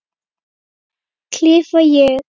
klifa ég.